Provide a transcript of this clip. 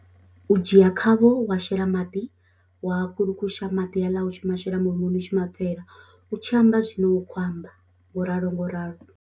U dzhia khavho wa shela maḓi wa kulukusha maḓi aḽa u tshi ma shela mulomoni u tshi ma pfhela u tshi amba zwine wa kho amba ngo ralo ngo ralo.